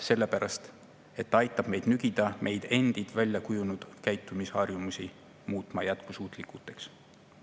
Sellepärast, et see aitab meil nügida endid sinnapoole, et me muudame oma väljakujunenud käitumisharjumused jätkusuutlikuks.